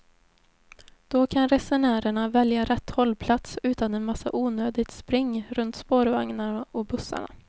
Då kan resenärerna välja rätt hållplats utan en massa onödigt spring runt spårvagnarna och bussarna.